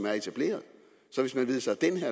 er etableret